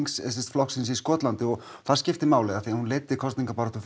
flokksins í Skotlandi og það skiptir máli því hún leiddi kosningabaráttu